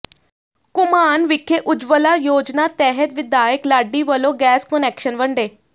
ਘੁਮਾਣ ਵਿਖੇ ਉਜਵਲਾ ਯੋਜਨਾ ਤਹਿਤ ਵਿਧਾਇਕ ਲਾਡੀ ਵਲੋਂ ਗੈਸ ਕੁਨੈਕਸ਼ਨ ਵੰਡੇ